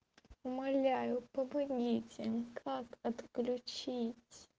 умоляю помогите как отключить